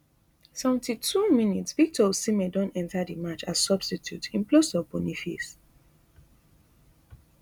seventy-two mins victor osimhen don enta di match as substitute in place of boniface